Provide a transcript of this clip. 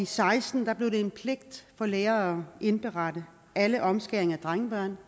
seksten blev det en pligt for læger at indberette alle omskæringer af drengebørn